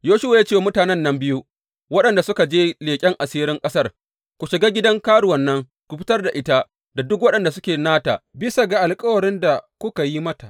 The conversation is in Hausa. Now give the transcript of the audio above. Yoshuwa ya ce wa mutanen nan biyu waɗanda suka je leƙen asirin ƙasar, Ku shiga gidan karuwan nan ku fitar da ita da duk waɗanda suke nata bisa ga alkawarin da kuka yi mata.